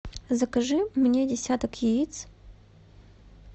закажи мне десяток яиц